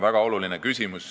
Väga oluline küsimus.